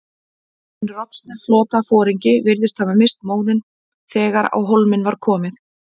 Hinn roskni flotaforingi virðist hafa misst móðinn, þegar á hólminn var komið.